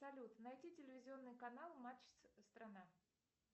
салют найти телевизионный канал матч страна